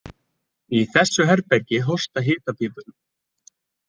Í þessu herbergi hósta hitapípurnar.